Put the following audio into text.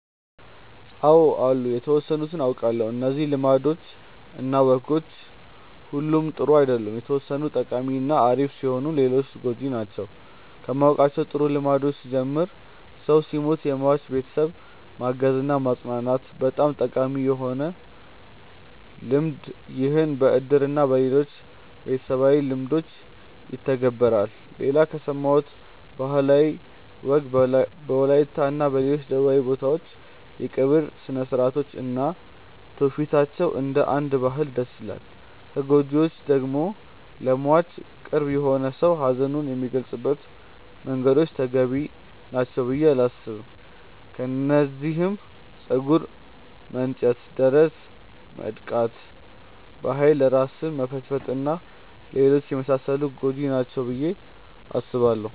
አው አሉ የተወሰኑትን አውቃለው። እነዚህ ልማዶች እና ወጎች ሁሉም ጥሩ አይደሉም የተወሰኑት ጠቃሚ እና አሪፍ ሲሆኑ ሌሎቹ ጎጂ ናቸው። ከማውቃቸው ጥሩ ልምዶች ስጀምር ሰው ሲሞት የሟች ቤተሰብን ማገዝ እና ማፅናናት በጣም ጠቃሚ የሆነ ልምድ ይህም በእድር እና በሌሎችም ቤተሰባዊ ልምዶች ይተገበራል። ሌላ ከሰማሁት ባህላዊ ወግ በወላይታ እና ሌሎች ደቡባዊ ቦታዎች የቀብር ስርአታቸው እና ትውፊታቸው እንደ አንድ ባህል ደስ ይለኛል። ከጎጂዎቹ ደግሞ ለሟች ቅርብ የሆነ ሰው ሀዘኑን የሚገልፀባቸው መንገዶች ተገቢ ናቸው ብዬ አላስብም። ከነዚህም ፀጉር መንጨት፣ ደረት መድቃት፣ በኃይል ራስን መፈጥፈጥ እና ሌሎችም የመሳሰሉት ጎጂ ናቸው ብዬ አስባለው።